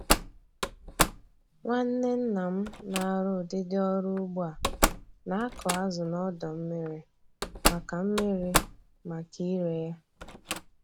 Nwanne nna m na-arụ ụdịdị ọrụ ugbo a na-akụ azụ n'ọdọ mmiri maka mmiri maka ire ya